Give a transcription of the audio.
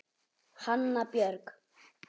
Hanna Björg.